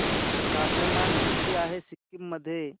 तापमान किती आहे सिक्किम मध्ये